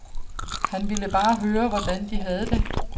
Han ville bare høre, hvordan de havde det.